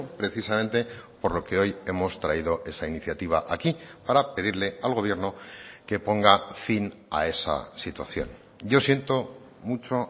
precisamente por lo que hoy hemos traído esa iniciativa aquí para pedirle al gobierno que ponga fin a esa situación yo siento mucho